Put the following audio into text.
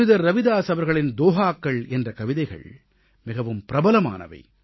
புனிதர் ரவிதாஸ் அவர்களின் தோஹாக்கள் என்ற கவிதைகள் மிகவும் பிரபலமானவை